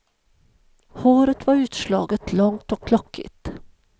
Håret var utslaget, långt och lockigt.